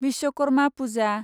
Vishwakarma Puja